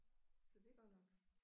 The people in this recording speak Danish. Så det er godt nok